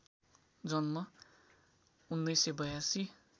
जन्म १९८२